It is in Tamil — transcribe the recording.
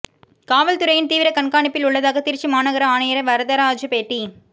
காவல்துறையின் தீவிர கண்காணிப்பில் உள்ளதாக திருச்சி மாநகர ஆணையர் வரதராஜு பேட்டி